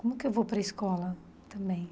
Como que eu vou para escola também?